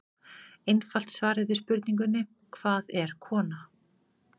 Einfalt svarið við spurningunni Hvað er kona?